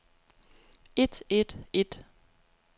et et et